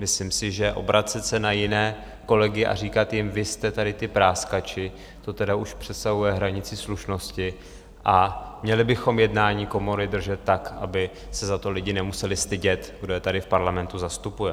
Myslím si, že obracet se na jiné kolegy a říkat jim, vy jste tady ti práskači, to tedy už přesahuje hranici slušnosti a měli bychom jednání komory držet tak, aby se za to lidé nemuseli stydět, kdo je tady v parlamentu zastupuje.